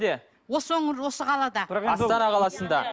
осы өңір осы қалада астана қаласында